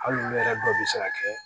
Hali n'u yɛrɛ dɔw bɛ se ka kɛ